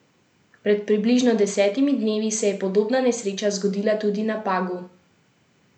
Pred približno desetimi dnevi se je podobna nesreča zgodila tudi na Pagu.